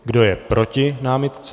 Kdo je proti námitce?